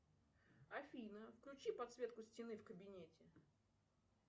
афина включи подсветку стены в кабинете